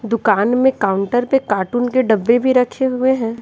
दुकान में काउंटर पे कार्टून के डब्बे भी रखे हुए हैं।